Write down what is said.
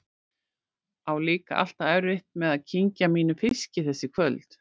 Á líka alltaf erfitt með að kyngja mínum fiski þessi kvöld.